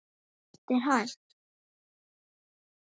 Allt er hægt.